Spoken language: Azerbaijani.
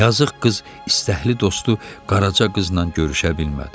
Yazıq qız istəkli dostu Qaraca qızla görüşə bilmədi.